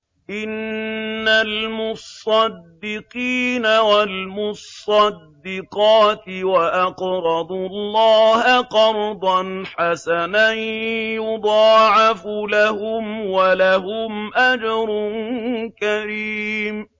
إِنَّ الْمُصَّدِّقِينَ وَالْمُصَّدِّقَاتِ وَأَقْرَضُوا اللَّهَ قَرْضًا حَسَنًا يُضَاعَفُ لَهُمْ وَلَهُمْ أَجْرٌ كَرِيمٌ